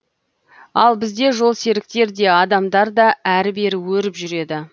ал бізде жолсеріктер де адамдар да әрі бері өріп жүреді